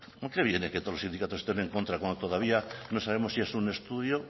a qué viene que todos los sindicatos estén en contra cuando todavía no sabemos si es un estudio